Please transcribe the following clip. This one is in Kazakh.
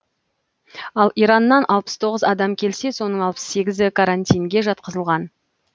ал ираннан алпыс тоғыз адам келсе соның алпыс сегізі карантинге жатқызылған